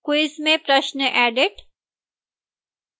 quiz में प्रश्न edit